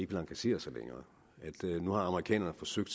vil engagere sig længere nu har amerikanerne forsøgt